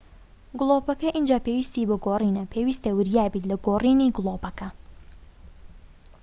گڵۆپەکە ئینجا پێویستی بە گۆڕینە پێویستە وریابیت لە گۆڕینی گڵۆپەکە